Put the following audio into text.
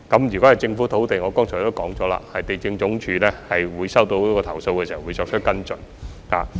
如果是政府土地，正如我剛才已表示，地政總署在收到投訴後會作出跟進。